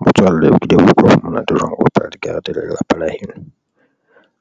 Motswalle o kile wa utlwa ho monate jwang ho bapala dikarete le lelapa la heno?